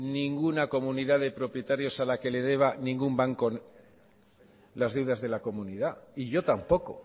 ninguna comunidad de propietarios a la que le deba ningún banco las deudas de la comunidad y yo tampoco